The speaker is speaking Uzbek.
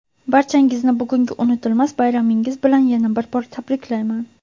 barchangizni bugungi unutilmas bayramingiz bilan yana bir bor tabriklayman.